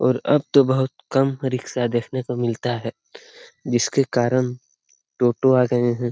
और अब तो बहुत कम रिक्शा देखने को मिलता है जिसके कारण टोटो आ गए है।